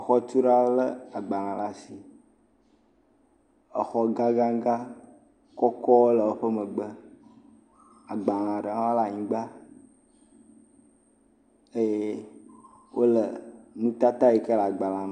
Xɔtula lé agbalẽ laa shi. Exɔ gãgãgã, kɔkɔ le woƒe megbe. Agbalẽa ɖe hã le anyigba eye wole nutata yi ke le agbalẽa me.